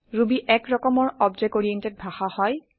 Ruby এক ৰকমৰ object oriented ভাষা হয়